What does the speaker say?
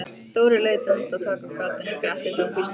Dóri leit andartak af gatinu, gretti sig og hvíslaði: